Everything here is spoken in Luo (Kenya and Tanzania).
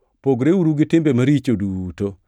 Pogreuru gi timbe maricho duto.